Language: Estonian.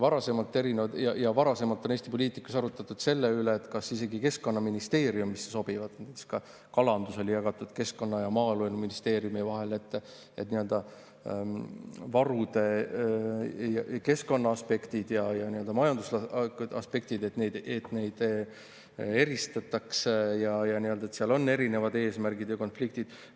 Varasemalt on Eesti poliitikas arutatud selle üle, kas isegi Keskkonnaministeeriumisse sobivad, näiteks kalandus oli jagatud Keskkonnaministeeriumi ja Maaeluministeeriumi vahel, et keskkonnaaspekte ja majandusaspekte eristataks, sest seal on erinevad eesmärgid ja konfliktid.